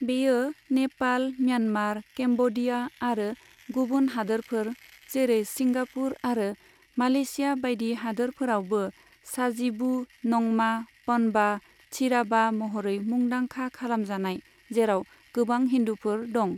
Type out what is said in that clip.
बेयो Nepal, Myanmar, Cambodia आरो गुबुन हादोरफोर, जेरै सिंगापुर आरो मालयेशिया बायदि हादोरफोरावबो साजिबू नंमा पनबा चीरा'बा महरै मुंदांखा खालामजानाय, जेराव गोबां हिन्दुफोर दं।